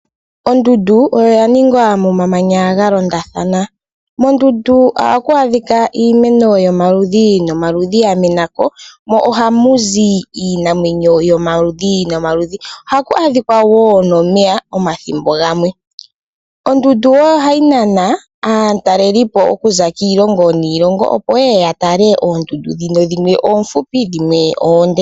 Ondundu oyo ya ningwa momamanya ga londathana. Moondundu ohamu adhika . Ondundu wo ohayi nana aatalelipi okuza kiilongo niilongo opo yeye ya tale ondundu shimwe oonfupi dhimwe oonde.